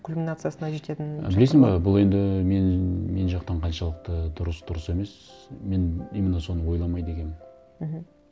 кульминациясына жететін шақтар болады білесің бе бұл енді мен жақтан қаншалықты дұрыс дұрыс емес мен именно соны ойламайды екенмін мхм